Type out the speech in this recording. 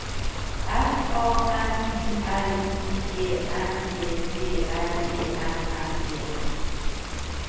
F A M I L I E M E D L E M M E R